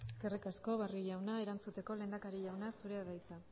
eskerrik asko barrio jauna erantzuteko lehendakari jauna zurea da hitza